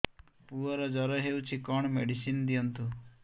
ପୁଅର ଜର ହଉଛି କଣ ମେଡିସିନ ଦିଅନ୍ତୁ